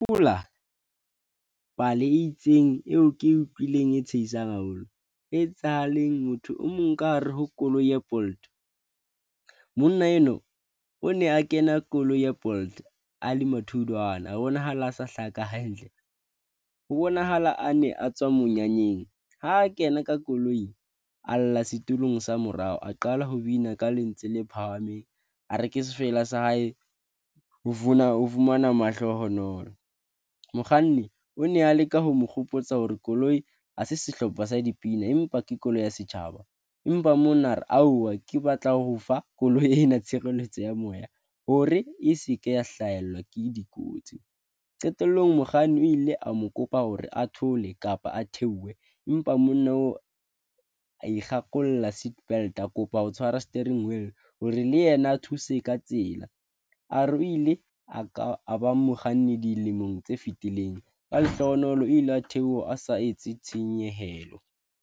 Ke hopola pale e itseng eo ke utlwileng eo e tsheisang haholo, e etsahaleng. Motho o mong ka hare ho koloi ya Bolt. Monna enwa o ne a kena koloi ya Bolt a le matholwana, a bonahala a sa hlaka hantle ho bonahala a ne a tswa monyanyeng. Ha kena ka koloi, a lla setulong sa morao, a qala ho bina ka lentswe le phahameng, a re ke sefela sa hae o fumana mahlohonolo. Mokganni o ne a leka ho mo kgopotsa hore koloi ha se sehlopha sa dipina, empa ke koloi ya setjhaba, empa mona re auwa ke batla ho fa koloi ena tshireletso ya moya hore e seke ya hlahelwa ke dikotsi. Qetellong mokganni o ile a mo kopa hore a thole kapa a theohe, empa monna oo a nkgakolola seatbelt, a kopa ho tshwara steering wheel hore le yena a thuse ka tsela, a re o ile a ka a ba mokganni dilemong tse fitileng, ka lehlohonolo ile a theoha a sa etse tshenyehelo.